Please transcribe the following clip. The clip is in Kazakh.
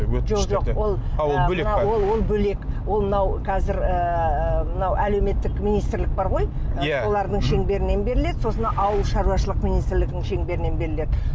ол бөлек ол мынау қазір ыыы мынау әлеуметтік министірлік бар ғой иә солардың шеңберімен беріледі сосын ауыл шаруашылық министірлігінің шеңберінен беріледі